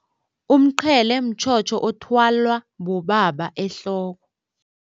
Umqhele mtjhotjho othwalwa bobaba ehloko.